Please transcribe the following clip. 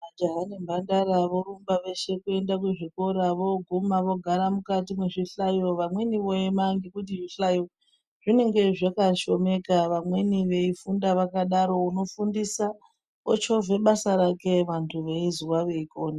Majaha nemhandara vorumba veshe kuenda kuzvikora voguma vogara mukati mezvihlayo vamweni voema nekuti zvihlayo zvinenge zvakashomeka vamweni veifunda vakadaro unofundisa ochovha basa rake vantu veizwa veikona .